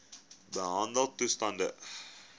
behandeltoestande